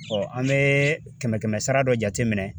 an bɛ kɛmɛ kɛmɛ sara dɔ jate minɛ